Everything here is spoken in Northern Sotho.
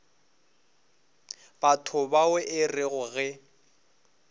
batho bao e rego ge